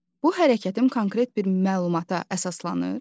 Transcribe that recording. Bu hərəkətim konkret bir məlumata əsaslanır?